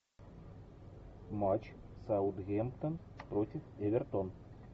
матч саутгемптон против эвертон